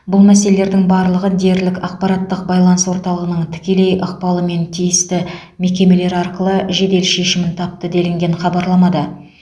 бұл мәселелердің барлығы дерлік ақпараттық байланыс орталығының тікелей ықпалымен тиісті мекемелер арқылы жедел шешімін тапты делінген хабарламада